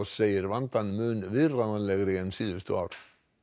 segir vandann mun viðráðanlegri en síðustu ár